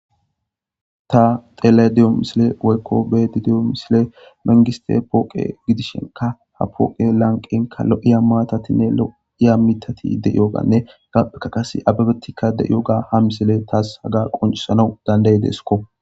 ta telediyo misile waykko be didiyo misile mengiste pooqe gidishenka ha pooqe lanqenka lo7iya maatatinne lo7iya mitati de yoganne gapheka qase ababettikka de7yo ga ha misile taas haga qoncisanau danday deesikko